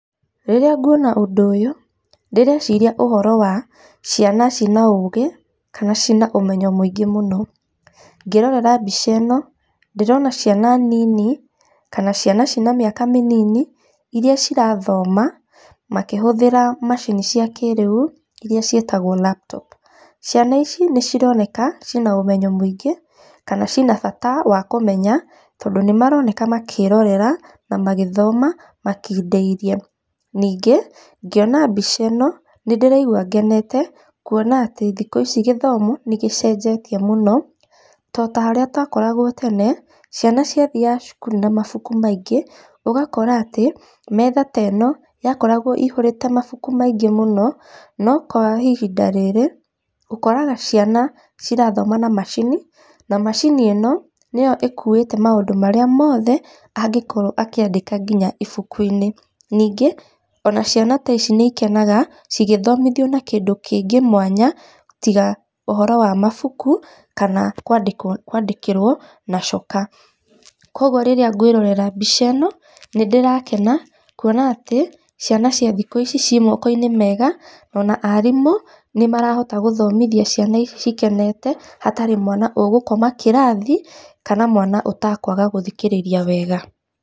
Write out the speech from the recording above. Rĩrĩa nguona ũndũ ũyũ, ndĩreciria ũhoro wa ciana ciĩna ũgĩ kana ciĩna ũmenyo mũingĩ mũno. Ngĩrorera mbica ĩno, ndĩrona ciana nini kana ciana ciĩna mĩaka mĩnini, iria cirathoma makĩhũthĩra macini cia kĩrĩu, iria ciĩtagwo laptop. Ciana ici nĩ cironekana ciĩna ũmenyo mũingĩ, kana ciĩna bata wa kũmenya tondũ nĩ maroneka makĩrorera na magĩthoma makindĩirie. Ningĩ ngĩona mbica ĩno, nĩ ndĩraigua ngenete, kuona atĩ thikũ ici gĩthomo nĩ gĩcenjetie mũno, to ta harĩa twakoragwo tene, ciana ciathiaga cukuru na mabuku maingĩ, ũgakora atĩ metha ta ĩno, yakoragwo ĩihũrĩte mabuku maingĩ mũno, no kwa ihinda rĩrĩ, ũkoraga ciana cirathoma na macini, na macini ĩno, nĩyo ĩkuĩte maũndũ marĩa mothe angĩkorwo akĩndĩka nginya ibuku-inĩ. Ningĩ ona ciana ta ici nĩ ikenaga cigĩthomithio na kĩndũ kĩngĩ mwanya, tiga ũhoro wa mabuku, kana kwandĩkĩrwo na coka. Koguo rĩrĩa ngwĩrorera mbica ĩno nĩ ndĩrakena kuona atĩ ciana cia thikũ ici ciĩ moko-inĩ mega, ona arimũ nĩ marahota gũthomithia ciana ici cikenete, hatarĩ mwana ũgũkoma kĩrathi kana mwana ũtakũaga gũthikĩrĩria wega.